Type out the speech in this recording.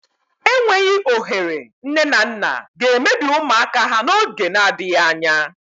Enweghị ohere nne na nna ga-emebi ụmụaka ha n'oge n'adịghị anya.